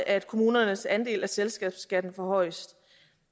at kommunernes andel af selskabsskatten forhøjes